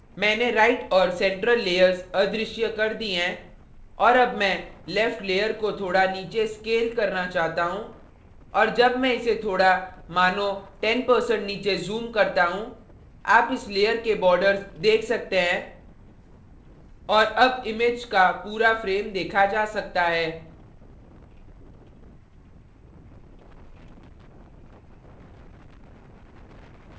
मैंने right और central layers अदृश्य कर दीं हैं और अब मैं left layer को थोड़ा नीचे scale करना चाहता हूँ और जब मैं इसे थोड़ा मानो 10% नीचे zoom करता हूँ आप इस layer के borders देख सकते हैं और अब image का पूरा frame देखा जा सकता है